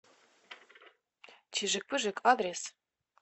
чижик пыжик адрес